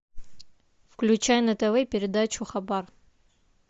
включай на тв передачу хабар